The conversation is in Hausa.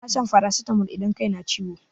Ana shan farasitamol idan kai na ciwo.